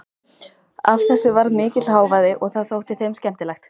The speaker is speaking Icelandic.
Af þessu varð mikill hávaði og það þótti þeim skemmtilegt.